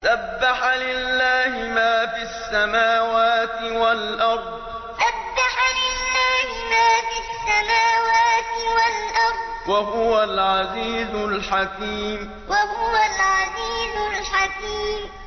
سَبَّحَ لِلَّهِ مَا فِي السَّمَاوَاتِ وَالْأَرْضِ ۖ وَهُوَ الْعَزِيزُ الْحَكِيمُ سَبَّحَ لِلَّهِ مَا فِي السَّمَاوَاتِ وَالْأَرْضِ ۖ وَهُوَ الْعَزِيزُ الْحَكِيمُ